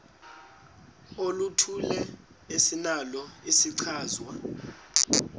oluthile esinalo isichazwa